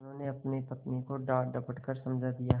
उन्होंने अपनी पत्नी को डाँटडपट कर समझा दिया